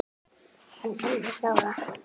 En örlög ráða.